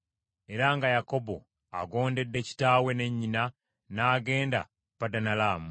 era nga Yakobo agondedde kitaawe ne nnyina n’agenda e Padanalaamu.